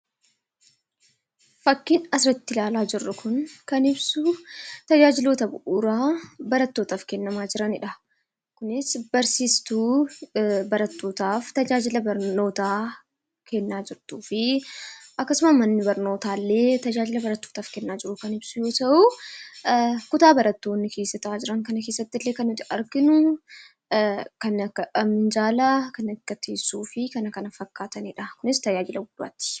Suuraa kanaa gadii irratti kan argamu tajaajiloota bu'uuraa barattootaaf kennamaa jiruu dha. Innis barsiistuu barattootaaf tajaajila barnootaa kennaa jirtu kan mul'isuu dha. Innis kutaa barnootaa yammuu ta'uu meeshaalee akka teessoo fa'aa kan of keessaa qabuu dha.